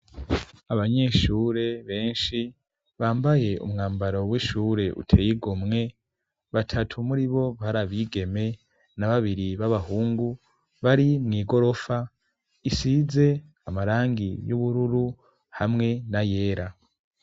abanyeshure beshi bambaye umwambaro w'ishure uteye igomwe batatu muri bo bari abigeme na babiri b'abahungu bari mw'igorofa isize amarangi y'ubururu hamwe na yera.